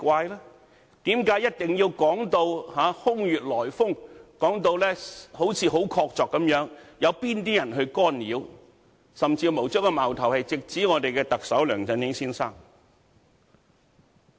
為何一定要說到空穴來風，說到好像很確鑿，有哪些人去干擾，甚至將矛頭直指特首梁振英先生？